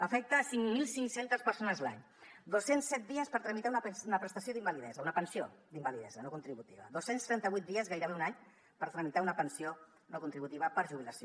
afecta cinc mil cinc cents persones l’any dos cents i set dies per tramitar una prestació d’invalidesa una pensió d’invalidesa no contributiva dos cents i trenta vuit dies gairebé un any per tramitar una pensió no contributiva per jubilació